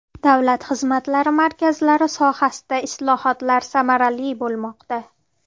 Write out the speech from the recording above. Davlat xizmatlari markazlari sohasida islohotlar samarali bo‘lmoqda.